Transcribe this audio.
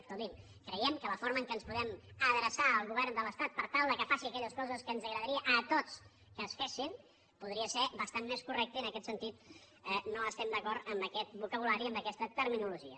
escolti’m creiem que la forma en què ens podem adreçar al govern de l’estat per tal que faci aquelles coses que ens agradaria a tots que es fessin podria ser bastant més correcta i en aquest sentit no estem d’acord amb aquest vocabulari i amb aquesta terminologia